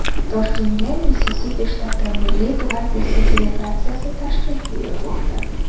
Toshkentga Missisipi shtati Milliy gvardiyasi delegatsiyasi tashrif buyurmoqda.